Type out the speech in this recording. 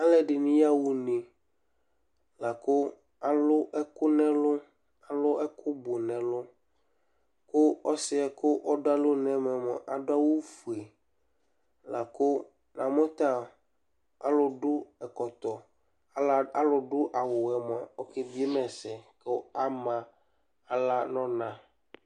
Alu ɛɖɩnɩ yaɣa une laku alu ɛku nɛlu alu ɛku bu nɛlu Ku ɔsi yɛ kɔɖu alonu aɖu awu foe La ku amu ta alu ɖu ɛkɔtɔ, ala alu ɖu awu wɛ mua ɔke bɩe ma ɛsɛ ku ama aɣla nu ɔna